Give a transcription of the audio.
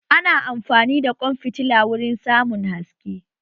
Ana amfani da ƙwan fitila wurin samun haske